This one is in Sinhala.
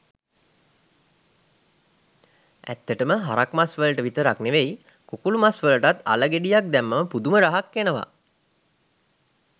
ඇත්තටම හරක් මස් වලට විතරක් නෙවෙයි කුකුළු මස් වලටත් අල ගෙඩියක් දැම්මම පුදුම රහක් එනවා